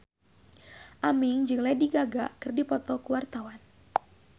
Aming jeung Lady Gaga keur dipoto ku wartawan